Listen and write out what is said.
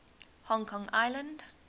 hong kong island